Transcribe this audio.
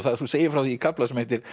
þú segir frá því í kafla sem heitir